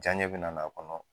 Janɲɛ bɛna n'a kɔnɔ.